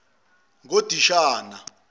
ngodishani